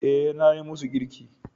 Eh, nayi musu girki